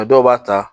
dɔw b'a ta